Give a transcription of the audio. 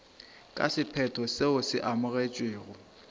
ka sephetho seo se amogetšwego